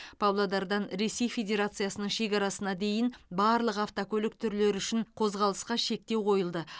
павлодардан ресей федерациясының шекарасына дейін барлық автокөлік түрлері үшін қозғалысқа шектеу қойылды